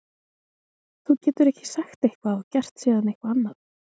Þú getur ekki sagt eitthvað og gert síðan eitthvað annað.